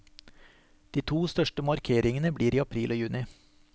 De to største markeringene blir i april og juni.